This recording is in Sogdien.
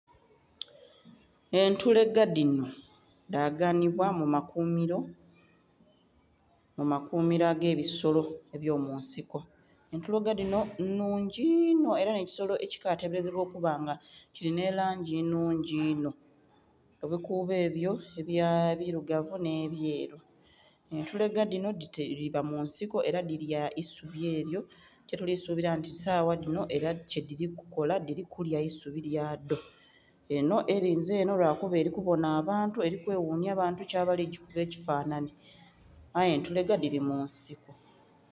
Entulege dhinho dhaganhibwa mu makuumilo ag'ebisolo ebyo munsiko. Entulege dhinho nnhungi inho ela nh'ekisolo ekikatebelezebwa okuba nga kili nhe langi ennhungi einho, ebikuubo ebyo ebilugavu nhe byeru. Entulege dhinho dhiba mu nsiko ela dhilya isubi elyo kyetulisuubila nti sagha dhino ela kyedhili kukola, dhili kulya isubi lyadho. Enho elinze enho lwakuba elikubonha abantu eli kweghunhya bantu ki abali gikuba ekifanhanhi. Aye entulege dhili mu nsiko.